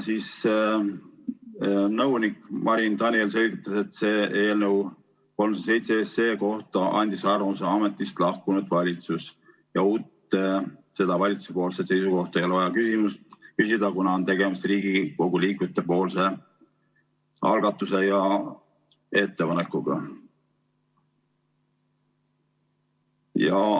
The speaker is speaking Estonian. Nõunik Marin Daniel selgitas, et eelnõu 307 kohta andis arvamuse ametist lahkunud valitsus ja uut valitsuse seisukohta ei ole vaja küsida, kuna on tegemist Riigikogu liikmete algatuse ja ettepanekuga.